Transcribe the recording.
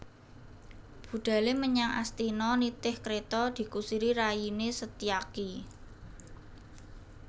Budhale menyang Astina nitih kreta dikusiri rayine Setyaki